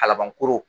Kalabankoro